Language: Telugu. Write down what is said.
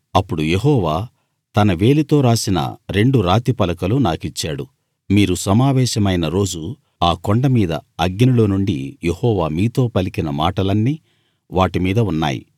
అప్పుడు యెహోవా తన వేలితో రాసిన రెండు రాతి పలకలు నాకిచ్చాడు మీరు సమావేశమైన రోజు ఆ కొండ మీద అగ్నిలో నుండి యెహోవా మీతో పలికిన మాటలన్నీ వాటి మీద ఉన్నాయి